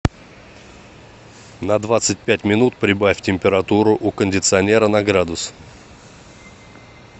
на двадцать пять минут прибавь температуру у кондиционера на градус